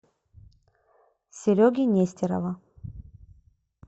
сереги нестерова